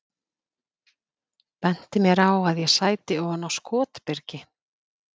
Benti mér á að ég sæti ofan á skotbyrgi.